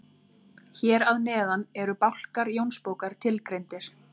Hér að neðan eru bálkar Jónsbókar tilgreindir.